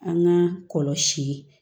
An ka kɔlɔsi